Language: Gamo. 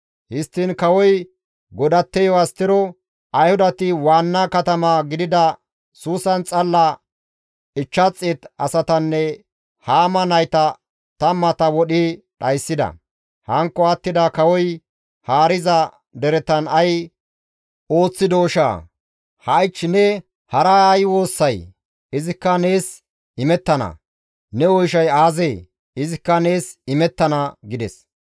Histtiin kawoy godatteyo Astero, «Ayhudati waanna katama gidida Suusan xalla 500 asatanne Haama nayta tammata wodhi dhayssida. Hankko attida kawoy haariza deretan ay ooththidooshaa! Ha7ich ne hara ay woossay? Izikka nees imettana; ne oyshay aazee? Izikka nees imettana» gides.